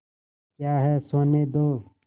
क्या है सोने दो